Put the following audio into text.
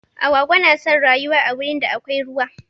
Agwagwa na son rayuwa a wurin da akwai ruwa.